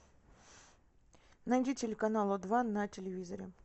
найди телеканал о два на телевизоре